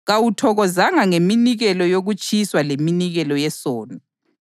kawuthokozanga ngeminikelo yokutshiswa leminikelo yesono.